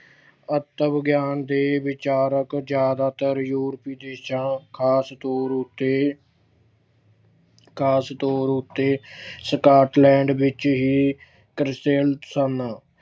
ਆਤਮ ਗਿਆਨ ਦੇ ਵਿਚਾਰਕ ਜ਼ਿਆਦਾਤਰ ਯੂਰਪੀ ਦੇਸ਼ਾਂ ਖਾਸ ਤੌਰ ਉੱਤੇ ਖਾਸ ਤੌਰ ਉੱਤੇ Scotland ਵਿੱਚ ਹੀ ਪ੍ਰਸਿੱਧ ਸਨ।